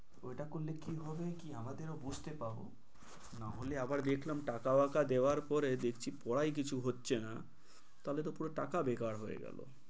ওইটা করলে কি হবে কি আমাদেরও বুঝতে পারবো না হলে আবার দেকলাম টাকা বাকা দেওয়ার পরে পড়াই কিছু হচ্ছে না তাহলে তো পুরো টাকা বেকার হয়ে গেলো।